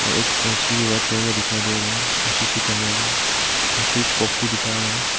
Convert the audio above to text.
और एक AC white colour का दिखाई दे रहा हैं और सी_सी कैमरा भी और स्विच बॉक्स भी दिखा रहा हैं।